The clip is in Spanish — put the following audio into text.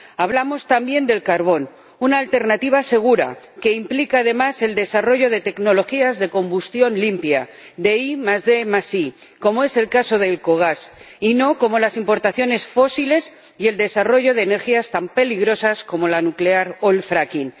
Hablamos también del carbón, una alternativa segura que implica, además, el desarrollo de tecnologías de combustión limpia, de IDi ―como es el caso de ELCOGAS―, y no como las importaciones fósiles y el desarrollo de energías tan peligrosas como la nuclear o el fracking